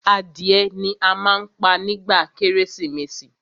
Adìẹ ni a má ń pa nígba kérésìmesì.